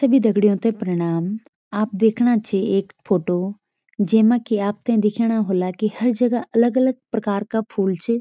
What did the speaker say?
सभी दगड़ियों थे प्रणाम आप देखणा छी एक फोटो जेमा की आपथे दिखणा होला की हर जगह अलग-अलग प्रकार का फूल च।